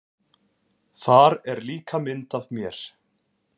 Þar er líka mynd af mér.